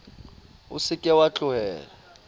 o se ke wa tlohela